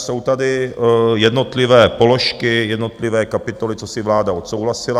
Jsou tady jednotlivé položky, jednotlivé kapitoly, co si vláda odsouhlasila.